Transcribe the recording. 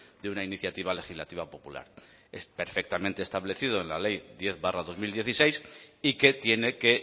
de una iniciativa legislativa popular es perfectamente establecido en la ley diez barra dos mil dieciséis y que tiene que